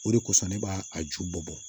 O de kosɔn ne b'a a ju bɔ